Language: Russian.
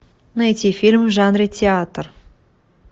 найти фильм в жанре театр